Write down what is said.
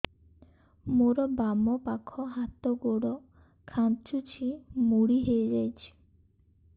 ମୋର ବାମ ପାଖ ହାତ ଗୋଡ ଖାଁଚୁଛି ମୁଡି ହେଇ ଯାଉଛି